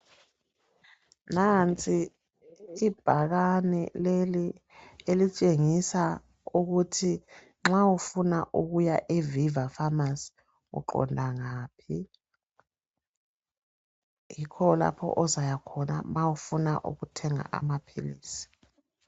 Nansi ibhakane leli elitshengisa ukuthi nxa ufuna ukuya e"Viva pharmacy " uqonda ngaphi, yikho lapho ozayakhona ma ufuna ukuthenga amaphilisi.